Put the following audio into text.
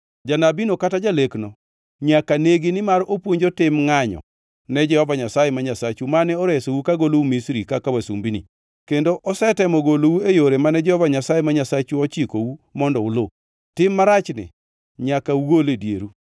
Janabino kata jalekno nyaka negi nimar opuonjo tim ngʼanyo ne Jehova Nyasaye ma Nyasachu mane oresou kagolou Misri kaka wasumbini; kendo osetemo golou e yore mane Jehova Nyasaye ma Nyasachu ochikou mondo uluw. Tim marachni nyaka ugol e dieru.